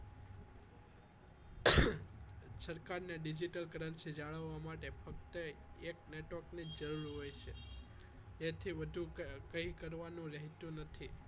સરકારને digital currency જાળવવા માટે ફક્ત એક network ની જ જરૂર હોય છે તેથી વધુ કંઈ કરવાનું રહેતું નથી